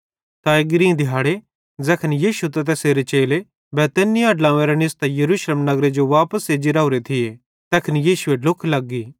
त एग्री दिहाड़ी ज़ैखन यीशु त तैसेरे चेले बैतनिय्याह ड्लोंव्वेरां निस्तां यरूशलेम नगरे जो वापस एज्जी राओरे थिये तैखन यीशुए ढ्लुख लग्गी